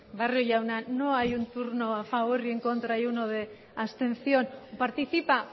barrio jauna no hay un turno a favor y en contra y uno de abstención participa